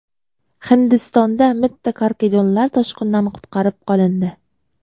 Hindistonda mitti karkidonlar toshqindan qutqarib qolindi.